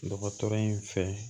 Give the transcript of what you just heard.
Dɔgɔtɔrɔ in fɛ